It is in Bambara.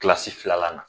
Kilasi filanan na